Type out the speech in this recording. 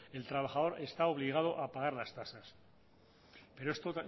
el trabajador está obligado a pagar las tasas pero esto